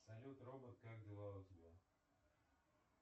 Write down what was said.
салют робот как дела у тебя